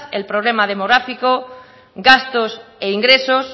el problema demográfico gastos e ingresos